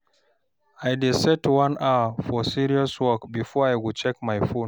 I dey set one hour for serious work before I check my phone.